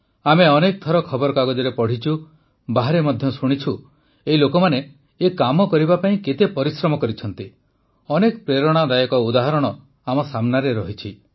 ଆମେ ଅନେକ ଥର ଖବରକାଗଜରେ ପଢ଼ିଛୁ ବାହାରେ ମଧ୍ୟ ଶୁଣିଛୁ ଏହି ଲୋକମାନେ ଏ କାମ କରିବା ପାଇଁ କେତେ ପରିଶ୍ରମ କରିଛନ୍ତି ଅନେକ ପ୍ରେରଣାଦାୟକ ଉଦାହରଣ ଆମ ସାମ୍ନାରେ ଅଛି